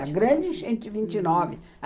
a grande enchente de vinte e nove. Uhum.